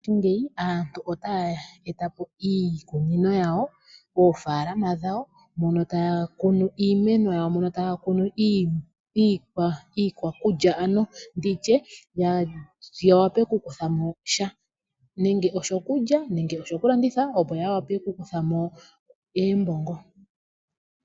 Mongashingeyi aantu otaa etapo iikunino yawo moofaalama dhawo moka taa kunu iimeno yawo mono taakunu iikwakulya ano yawape okukuthamo sha nenge oshokulya nenge oshokulanditha opo yiwape okukuthamo oombongo.